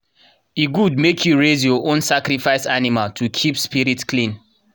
e good make you raise your own sacrifice animal to keep spirit clean.